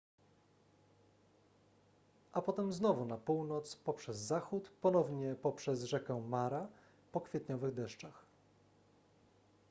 a potem znowu na północ poprzez zachód ponownie poprzez rzekę mara po kwietniowych deszczach